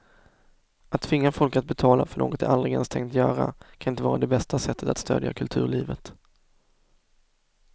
Att tvinga folk att betala för något de aldrig ens tänkt göra kan inte vara det bästa sättet att stödja kulturlivet.